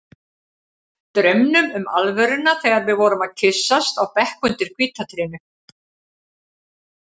Draumnum um alvöruna þegar við vorum að kyssast á bekk undir hvíta trénu.